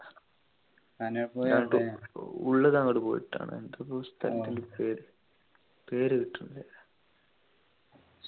നാട് ഉള്ളു ന്നങ്ങോട് പോയിട്ടാണ് എന്താപ്പ ആ സ്ഥലത്തിൻ്റെ പേര് പേര് കിട്ടണില്ല